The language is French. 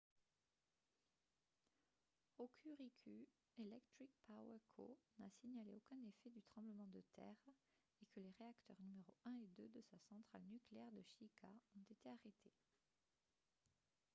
hokuriku electric power co n'a signalé aucun effet du tremblement de terre et que les réacteurs numéro 1 et 2 de sa centrale nucléaire de shika ont été arrêtés